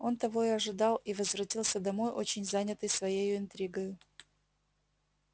он того и ожидал и возвратился домой очень занятый своей интригою